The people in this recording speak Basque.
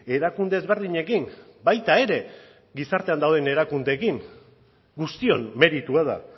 erakunde ezberdinekin baita ere gizartean dauden erakundeekin guztion meritua da